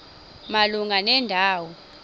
malunga nenda wo